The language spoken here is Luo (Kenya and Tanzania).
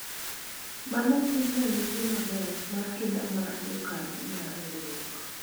mano en ranyisi maber mar kinda mar jokanyo mar riwruok